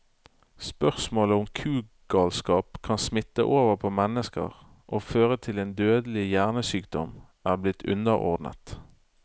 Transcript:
Spørsmålet om kugalskap kan smitte over på mennesker og føre til en dødelig hjernesykdom, er blitt underordnet.